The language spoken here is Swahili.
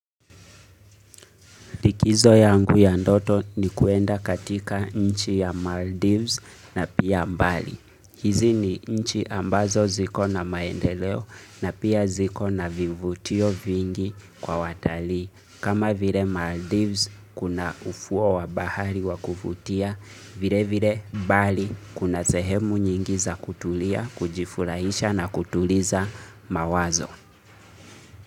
Likizo yangu ya ndoto ni kuenda katika nchi ya Maldives na pia mbali. Hizi ni nchi ambazo ziko na maendeleo na pia ziko na vivutio vingi kwa watalii. Kama vile Maldives kuna ufuo wa bahari wa kuvutia, vile vile Bali kuna sehemu nyingi za kutulia, kujifurahisha na kutuliza mawazo.